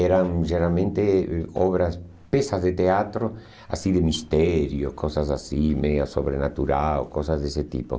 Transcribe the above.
eram geralmente obras, peças de teatro, assim, de mistério, coisas assim, meio sobrenatural, coisas desse tipo.